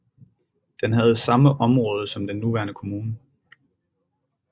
Den havde samme område som den nuværende kommune